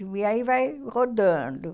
E aí vai rodando.